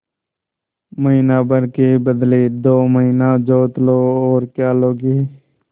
महीना भर के बदले दो महीना जोत लो और क्या लोगे